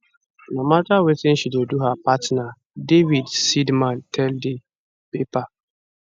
no mata wetin she dey do her partner david seidman tell di paper